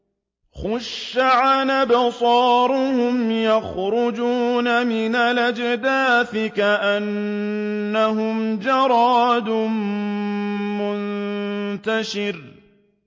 خُشَّعًا أَبْصَارُهُمْ يَخْرُجُونَ مِنَ الْأَجْدَاثِ كَأَنَّهُمْ جَرَادٌ مُّنتَشِرٌ